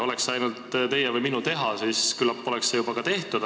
Oleks see ainult teie või minu teha, oleks see küllap juba ka tehtud.